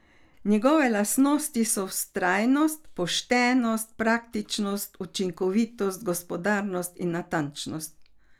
Njegove lastnosti so vztrajnost, poštenost, praktičnost, učinkovitost, gospodarnost in natančnost.